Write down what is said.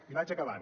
i vaig acabant